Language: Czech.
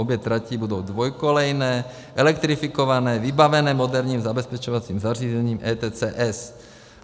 Obě trati budou dvoukolejné, elektrifikované, vybavené moderním zabezpečovacím zařízením ETCS.